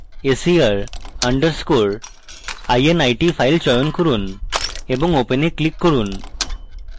ser underscore init file চয়ন করুন এবং open এ click করুন